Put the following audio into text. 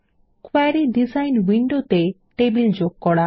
query design উইন্ডোতে table যোগ করা